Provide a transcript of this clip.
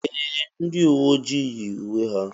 Ee! Ndị uwe ojii yi uwe ha.